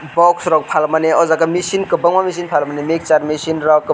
box rok palmani o jaga misin kobangma palmani mixer mechine rok kobang.